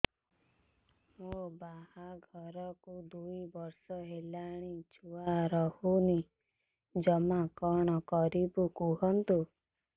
ମୋ ବାହାଘରକୁ ଦୁଇ ବର୍ଷ ହେଲାଣି ଛୁଆ ରହୁନି ଜମା କଣ କରିବୁ କୁହନ୍ତୁ